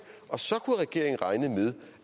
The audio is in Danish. og så kunne regeringen regne med